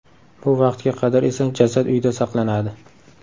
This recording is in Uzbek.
Bu vaqtga qadar esa jasad uyda saqlanadi.